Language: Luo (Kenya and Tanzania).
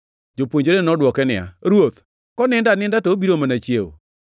Jopuonjrene nodwoke niya, “Ruoth, konindo aninda, to obiro mana chiewo.”